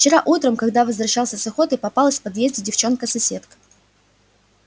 вчера утром когда возвращался с охоты попалась в подъезде девчонка-соседка